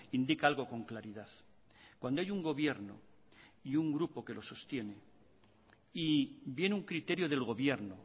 indica algo con claridad cuando hay un gobierno y un grupo que lo sostiene y viene un criterio del gobierno